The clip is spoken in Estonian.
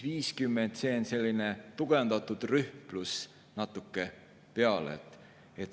50 on selline tugevdatud rühm pluss natuke peale.